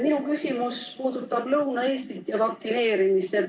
Minu küsimus puudutab Lõuna-Eestit ja vaktsineerimist.